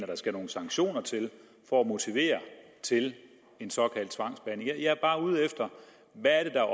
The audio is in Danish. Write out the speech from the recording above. der skal nogle sanktioner til for at motivere til en såkaldt tvangsbehandling jeg er bare ude efter hvad der er